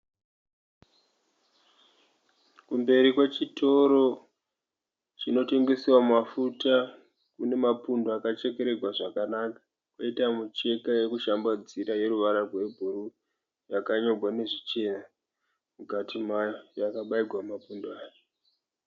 Kumberi kwechitoro chinotengesawa mafuta kune mapundo akachekererwa zvakanaka. Poita mucheka yekushambadzira yeruvara rwebhuruu yakanyorwa nezvichena mukati mayo yakabaigwa mumapundo aya.